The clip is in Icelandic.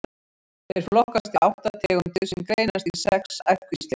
Þeir flokkast í átta tegundir sem greinast í sex ættkvíslir.